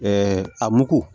a mugu